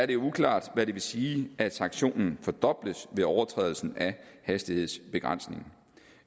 det uklart hvad det vil sige at sanktionen fordobles ved overtrædelse af hastighedsbegrænsningen